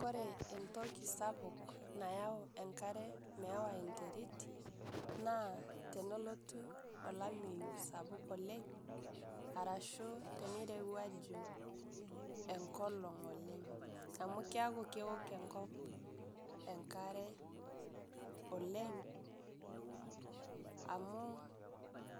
Kore entokii sapuk nayau enkaare meewa enteriit naa tene lutuu olaimeiyu sapuk oleng arashu tene reuwaju enkolong' oleng', amu keeku keook enkop enkare oleng amu